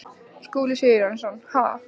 Skúli Sigurjónsson: Ha?